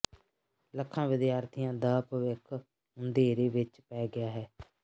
ਲੱਖਾਂ ਵਿਦਿਆਰਥੀਆਂ ਦ ਭਵਿੱਖ ਅੰਧੇਰੇ ਵਿਚ ਪੈ ਗਿਆ ਹੈ